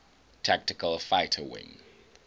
tactical fighter wing